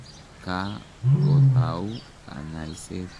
Ka kotau kanyaiset.